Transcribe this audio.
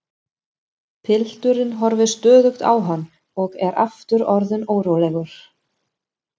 Pilturinn horfir stöðugt á hann og er aftur orðinn órólegur.